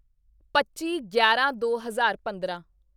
ਪੱਚੀਗਿਆਰਾਂਦੋ ਹਜ਼ਾਰ ਪੰਦਰਾਂ